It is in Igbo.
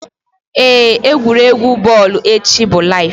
Éè, egwuregwu bọl echi bụ laiv